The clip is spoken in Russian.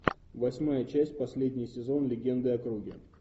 восьмая часть последний сезон легенды о круге